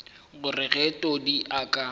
gore ge todi a ka